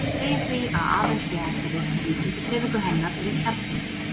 við segjum því að aðeins sé hægt að reikna líkindadreifingu hennar um kjarnann